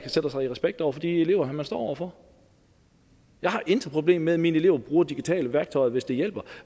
sætter sig i respekt over for de elever han står over for jeg har intet problem med at mine elever bruger digitale værktøjer hvis det hjælper